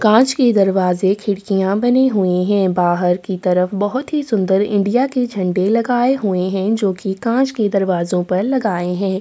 कांच के दरवाजे खिड़कियां बनी हुई हैं। बाहर की तरफ बहुत सी सुन्दर इंडिया के झंडे लगाए हुए हैं जो कि कांच के दरवाजे पर लगाए हैं।